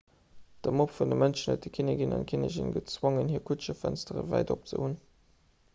de mob vu mënschen huet den kinnek an d'kinnigin gezwongen hir kutschefënstere wäit op ze hunn